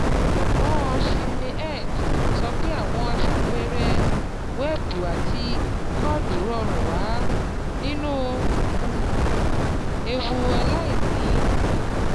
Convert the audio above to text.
Ọ̀jọ̀gbọ́n ChinmayHegde sọ pé àwọn aṣàpẹẹrẹ wẹ́ẹ̀bù àti kóòdù rọrùn wà nínú um ewu aláìní.